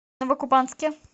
новокубанске